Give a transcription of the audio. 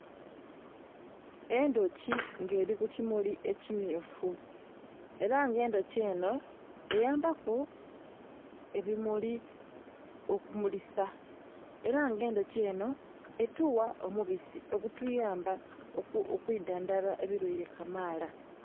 Endhuki nga eli ku kimuli ekimyufu. Ela nga endhuki enho eyambaku ebimuli okumulisa. Ela nga endhuki enho etuwa omubisi ogutuyamba okwidhandhaba ebilwaile kamaala.